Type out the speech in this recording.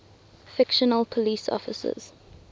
fictional police officers